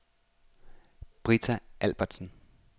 Britta Albertsen